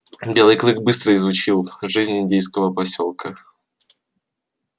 белый клык быстро изучил жизнь индейского посёлка